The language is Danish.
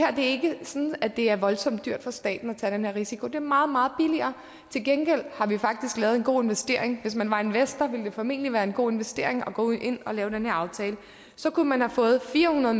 er ikke sådan at det er voldsomt dyrt for staten at tage den her risiko det er meget meget billigere til gengæld har vi faktisk lavet en god investering hvis man var investor ville det formentlig være en god investering at gå ind og lave den her aftale så kunne man have fået fire hundrede